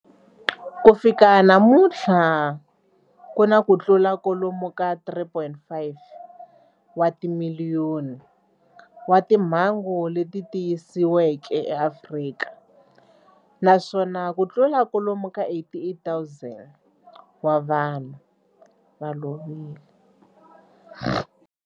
Ku fika namuntlha ku na kutlula kwalomu ka 3.5 wa timiliyoni wa timhangu leti tiyisiweke eAfrika, naswona kutlula kwalomu ka 88,000 wa vanhu va lovile.